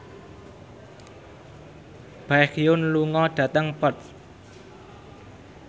Baekhyun lunga dhateng Perth